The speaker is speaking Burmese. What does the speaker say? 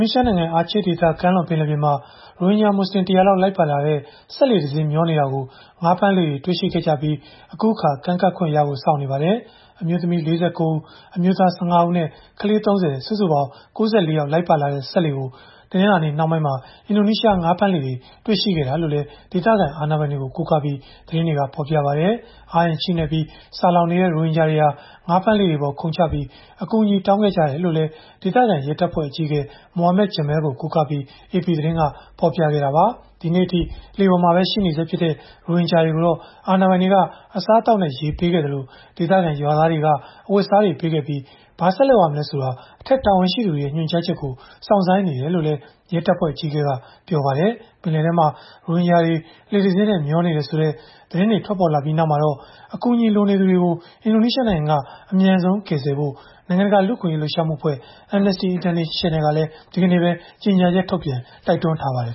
နီးရှားနိုင်ငံ Aceh ဒေသ ကမ်းလွန်ပင်လယ်ပြင်မှာ ရိုဟင်ဂျာမွတ်ဆလင် ၁၀၀ လောက် လိုက်ပါလာတဲ့ စက်လှေတစင်း မျောနေတာကို ငါးဖမ်းလှေတွေက တွေ့ရှိခဲ့ကြပြီး အခုအခါ ကမ်းကပ်ခွင့်ရဖို့ စောင့်ဆိုင်းနေပါတယ်။ အမျိုးသမီး ၄၉ ဦး၊ အမျိုးသား ၁၅ ဦးနဲ့ ကလေး ၃၀၊ စုစုပေါင်း ၉၄ ယောက် လိုက်ပါလာတဲ့ စက်လှေကို တနင်္လာနေ့နှောင်းပိုင်းမှာ အင်ဒိုနီးရှား ငါးဖမ်းလှေတွေက တွေ့ရှိခဲ့ကြတာလို့လည်း ဒေသခံ အာဏာပိုင်တွေကို ကိုးကားပြီး သတင်းတွေက ဖော်ပြကြပါတယ်။ အားအင်ချိနဲ့ပြီး ဆာလောင်နေကြတဲ့ ရိုဟင်ဂျာတွေဟာ ငါးဖမ်းလှေတွေပေါ် ခုန်ချပြီး အကူအညီတောင်းခံခဲ့ကြတယ်လို့လည်း ဒေသခံရဲတပ်ဖွဲ့ အကြီးအကဲ Muhammad Jamil ကို ကိုးကားပြီး AP သတင်းက ဖော်ပြခဲ့တာပါ။ ဒီနေ့အထိ လှေပေါ်မှာပဲ ရှိနေဆဲဖြစ်တဲ့ ရိုဟင်ဂျာတွေကိုတော့ အာဏာပိုင်တွေက အစားသောက်နဲ့ရေ ပေးခဲ့သလို ဒေသခံရွာသားတွေက အဝတ်အစားတွေ ပေးခဲ့ကြပြီး၊ ဘာဆက်လုပ်ရမလဲဆိုတာ အထက်တာဝန်ရှိသူတွေရဲ့ ညွှန်ကြားချက်ကို စောင့်ဆိုင်းနေတယ်လို့လည်း ရဲတပ်ဖွဲ့အကြီးအကဲက ပြောပါတယ်။ ပင်လယ်ထဲမှာ ရိုဟင်ဂျာတွေ လှေတစင်းနဲ့ မျောနေတယ်ဆိုတဲ့ သတင်းတွေ ထွက်ပေါ်လာပြီးနောက်မှာတော့ အကူအညီလိုနေသူတွေကို အင်ဒိုနီးရှားနိုင်ငံက အမြန်ဆုံး ကယ်ဆယ်ဖို့ နိုင်ငံတကာ လူ့အခွင့်အရေးလှုပ်ရှားမှုအဖွဲ့ Amnesty International အဖွဲ့ကလည်း ဒီကနေ့ပဲ ကြေညာချက်ထုတ်ပြန် တိုက်တွန်းထားပါတယ်